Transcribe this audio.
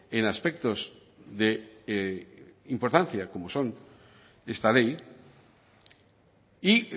en aspectos de importancia como son esta ley y